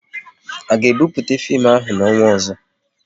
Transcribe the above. A ga ebupute fim ahụ n'ọnwa ọzọ?